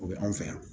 O bɛ anw fɛ yan